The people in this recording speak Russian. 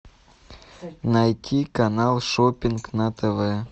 найти канал шоппинг на тв